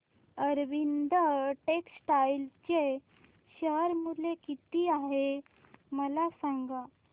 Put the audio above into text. Arvind textile चे share मूल्य किती आहे मला सांगा